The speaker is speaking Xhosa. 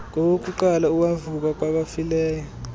ngowokuqala owavuka kwabafileyo